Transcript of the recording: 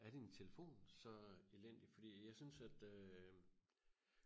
er din telefon så elendig fordi jeg synes at øh